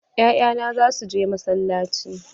Ya'ya na za su je masallaci.